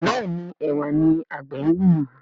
Béèni Ẹwà ní àgbè ngbin.